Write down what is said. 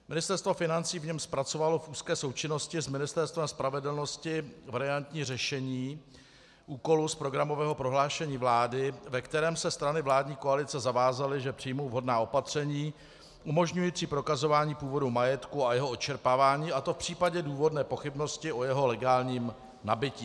Ministerstvo financí v něm zpracovalo v úzké součinnosti s Ministerstvem spravedlnosti variantní řešení úkolu z programového prohlášení vlády, ve kterém se strany vládní koalice zavázaly, že přijmou vhodná opatření umožňující prokazování původu majetku a jeho odčerpávání, a to v případě důvodné pochybnosti o jeho legálním nabytí.